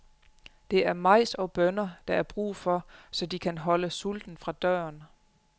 Det er majs og bønner, der er brug for, så de kan holde sulten fra døren.